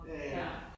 Ja ja